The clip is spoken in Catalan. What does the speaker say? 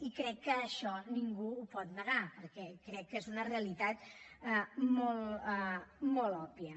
i crec que això ningú ho pot negar perquè crec que és una realitat molt òbvia